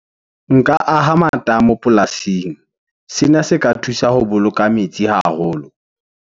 Nka aha matamo polasing. Sena se ka thusa ho boloka metsi haholo.